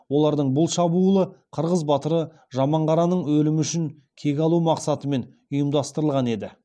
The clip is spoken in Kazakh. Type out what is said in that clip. олардың бұл шабуылы қырғыз батыры жаманқараның өлімі үшін кек алу мақсатымен ұйымдастырылған еді